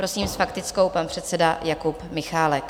Prosím s faktickou pan předseda Jakub Michálek.